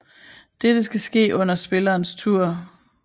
Dette skal ske under spillerens tur